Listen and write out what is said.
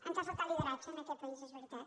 ens ha faltat lideratge en aquest país és veritat